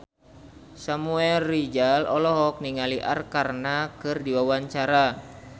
Samuel Rizal olohok ningali Arkarna keur diwawancara